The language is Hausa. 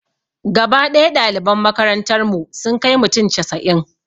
Gaba ɗaya ɗaliban makarantar mu sun kai mutum casa'in